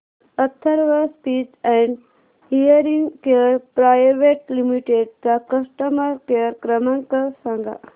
Atharva speech and hearing care private limited चा customer care क्रमांक सांगा